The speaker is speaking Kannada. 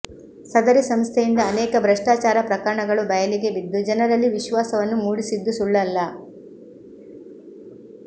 ಸದರಿ ಸಂಸ್ಥೆಯಿಂದ ಅನೇಕ ಭ್ರಷ್ಟಾಚಾರ ಪ್ರಕರಣಗಳು ಬಯಲಿಗೆ ಬಿದ್ದು ಜನರಲ್ಲಿ ವಿಶ್ವಾಸವನ್ನು ಮೂಡಿಸಿದ್ದು ಸುಳ್ಳಲ್ಲ